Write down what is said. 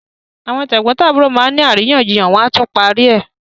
Àwọn tẹ̀gbọ́ntàbúrò má ni àríyànjiyàn bẹ́ẹ̀ wọ́n á tún parí ẹ̀.